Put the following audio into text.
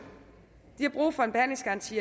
har brug for en behandlingsgaranti